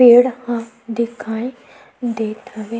पेड़ ह दिखाई देत हवे।